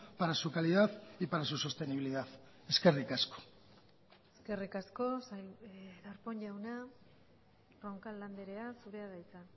para su calidad y para su sostenibilidad eskerrik asko eskerrik asko darpón jauna roncal andrea zurea da hitza